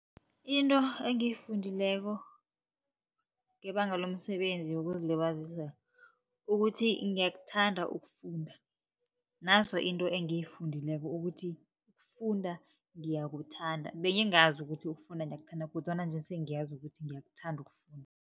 Into engiyifundileko ngebanga lomsebenzi wokuzilibazisa, ukuthi ngiyakuthanda ukufunda. Naso into engiyifundileko ukuthi funda ngiyakuthanda, bengingazi ukuthi ukufunda ngiyakuthanda kodwana nje sengiyazi ukuthi ngiyakuthanda ukufunda.